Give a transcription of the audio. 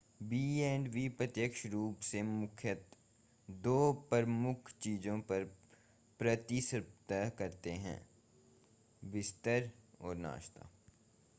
B and B प्रत्यक्ष रूप से मुख्यतः दो प्रमुख चीजों पर प्रतिस्पर्धा करते हैं बिस्तर और नाश्ता